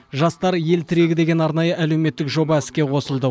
жастар ел тірег деген арнайы әлеуметтік жоба іске қосылды